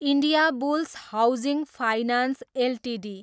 Indiabulls housing finance Ltd